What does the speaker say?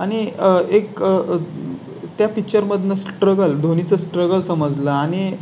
आणि एक. त्या Picture मधून Struggle दोन्ही चं Struggle समजलं